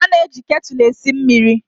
A na-eji ketụlụ esi mmịrị.